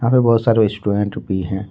और बहोत सारे स्टूडेंट भी है।